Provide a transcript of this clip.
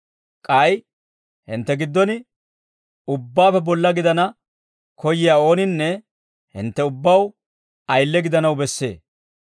K'ay hintte giddon ubbaappe bolla gidana koyyiyaa ooninne hintte ubbaw ayile gidanaw bessee.